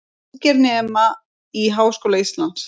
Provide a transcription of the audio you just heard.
Ungir nema í Háskóla Íslands